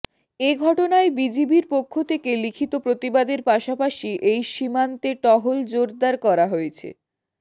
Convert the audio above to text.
এ ঘটনায় বিজিবির পক্ষ থেকে লিখিত প্রতিবাদের পাশাপাশি ওই সীমান্তে টহল জোরদার করা হয়েছে